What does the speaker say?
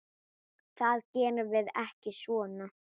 Það gerum við ekki svona.